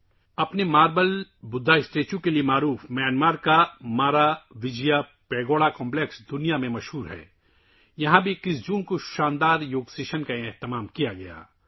Myanmar کا Maravijaya pagoda complex جو کہ ماربل بدھا کے مجسمے کی وجہ سے دنیا میں مشہور ہے، یہاں 21 جون کو ایک شاندار یوگا سیشن کا بھی اہتمام کیا گیا